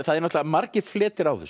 náttúrulega margir fletir á þessu